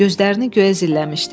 Gözlərini göyə zilləmişdi.